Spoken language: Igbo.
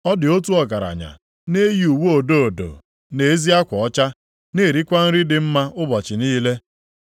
“Ọ dị otu ọgaranya na-eyi uwe odo odo na ezi akwa ọcha, na-erikwa nri dị mma ụbọchị niile.